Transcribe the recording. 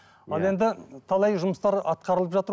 ал енді талай жұмыстар атқарылып жатыр